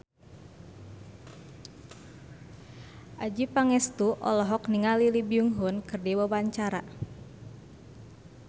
Adjie Pangestu olohok ningali Lee Byung Hun keur diwawancara